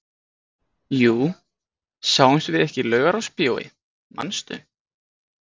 Jú, sáumst við ekki í Laugarásbíói, manstu?